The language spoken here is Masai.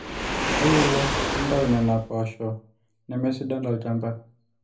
tayiolo nintau nena poosho nemesidan tolchamba